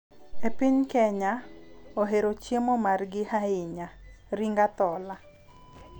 E piny Kenya, ohero chiemo margi ahinya ahinya "Ring Athola".